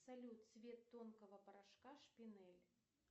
салют цвет тонкого порошка шпинель